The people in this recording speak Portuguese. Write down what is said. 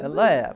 Ela era.